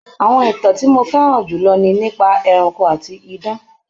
Àwọn ìtàn tí mo fẹ́ràn jù lọ ni nípa ẹranko àti idán.